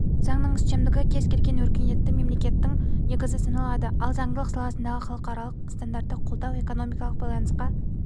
заңның үстемдігі кез келген өркениетті мемлекеттің негізі саналады ал заңдылық саласындағы халықаралық стандарттарды қолдау экономикалық байланысқа